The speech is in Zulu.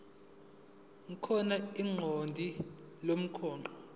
khona ikhodi lomgwaqo